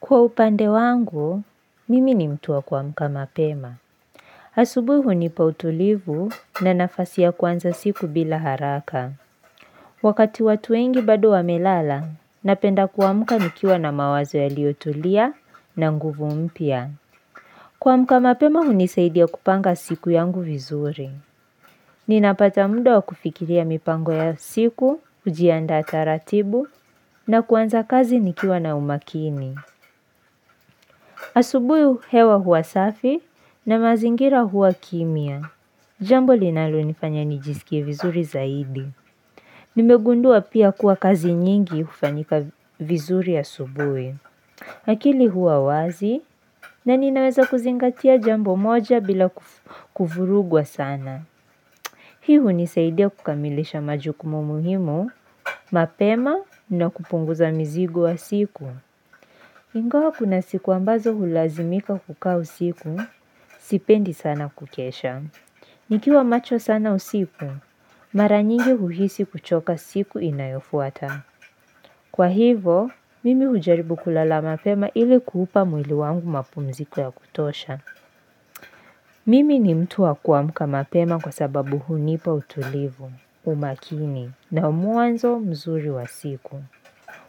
Kwa upande wangu, mimi ni mtu wa kuamka mapema. Asubuhi hunipa utulivu na nafasi ya kuanza siku bila haraka. Wakati watu wengi bado wamelala, napenda kuamka nikiwa na mawazo yaliotulia na nguvu mpya. Kuamka mapema hunisaidia kupanga siku yangu vizuri. Ninapata muda wa kufikiria mipango ya siku, kujiandaa taratibu, na kuanza kazi nikiwa na umakini. Asubuhi hewa huwa safi na mazingira huwa kimya. Jambo linalonifanya nijisikie vizuri zaidi. Nimegundua pia kuwa kazi nyingi hufanyika vizuri asubuhi. Akili huwa wazi na ninaweza kuzingatia jambo moja bila kuvurugwa sana. Hii hunisaidia kukamilisha majukumu muhimu mapema na kupunguza mizigo ya siku. Ingawa kuna siku ambazo hulazimika kukaa usiku, sipendi sana kukesha. Nikiwa macho sana usiku, mara nyingi huhisi kuchoka siku inayofuata. Kwa hivo, mimi hujaribu kulala mapema ilikuupa mwili wangu mapumziko ya kutosha. Mimi ni mtu wa kuamka mapema kwa sababu hunipa utulivu, umakini, na muanzo mzuri wa siku.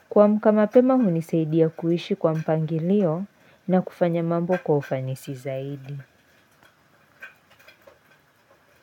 Kuamka mapema hunisaidia kuishi kwa mpangilio na kufanya mambo kwa ufanisi zaidi.